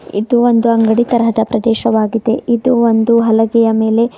ಇದು ಒಂದು ಅಂಗಡಿ ತರಹದ ಪ್ರದೇಶವಾಗಿದೆ ಇದು ಒಂದು ಹಲಗೆಯ ಮೇಲೆ--